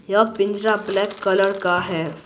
यह पिंजरा black colour का है।